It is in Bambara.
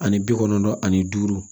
Ani bi kɔnɔntɔn ani duuru